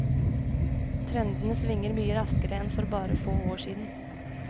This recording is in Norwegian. Trendene svinger mye raskere enn for bare få år siden.